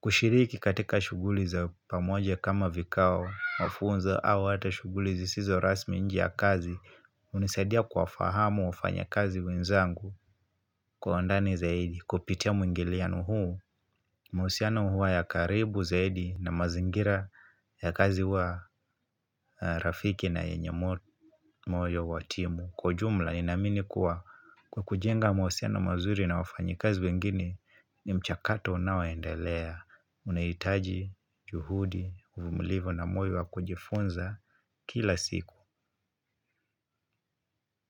kushiriki katika shuguli za pamoja kama vikao kuwafunza au hata shuguli zisizo rasmi nje ya kazi hunisadia kuwafahamu wafanyakazi wenzangu kwa undani zaidi kupitia mwingiliano huu mahusiano hua ya karibu zaidi na mazingira ya kazi huwa rafiki na yenye moyo wa timu Kwa ujumla ninaamini kuwa kwa kujenga mahusiano mazuri na wafanyikazi wengine ni mchakato unoendelea unahitaji, juhudi, uvumilivu na moyo wa kujifunza kila siku.